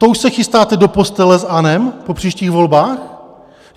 To už se chystáte do postele s ANO po příštích volbách?